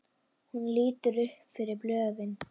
Hún lítur upp fyrir blöðin.